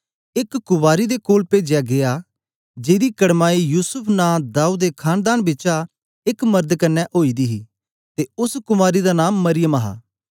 एक कुवारी दे कोल पेजया गीया जेदी कडमाई युसूफ नां दाऊद दे खानदान बिचा एक मरद कन्ने ओई दी ही ते ओस कुवारी दा नां मरियम हा